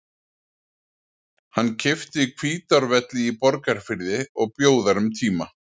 Hann keypti Hvítárvelli í Borgarfirði og bjó þar um tíma.